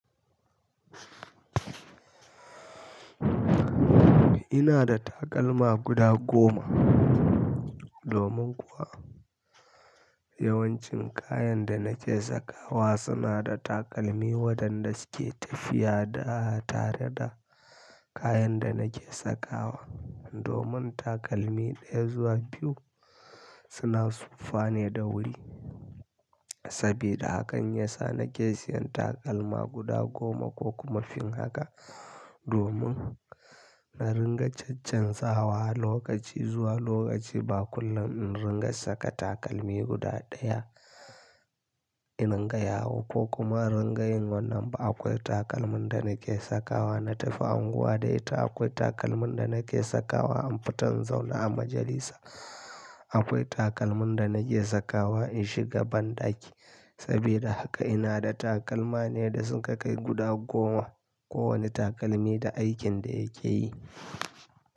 Ina da takalma guda goma, domin kuwa yawancin kayan da nake sakawa suna da takalmi waɗanda suke tafiya da tare da kayan da nake sakawa. Domin takalmi ɗaya zuwa biyu suna siffane da wuri. Sabida haka yasa nake siyan takalma guda goma ko kuma fin haka, domin na ringa caccanza wa lokaci zuwa lokaci. Ba kullum in ringa saka takalmi guda ɗaya iringa yawo ko kuma ringa yin wannan ba. Akwai takalmin da nake sakawa na tafiya unguwa da ita, akwai takalmin da nake sakawa in fita zaune a majalisa, akwai takalmin da nake sakawa in shiga banɗaki. Sabida haka ina da takalma ne da sun kai guda goma. Kowane takalmi da aikin da yake yi.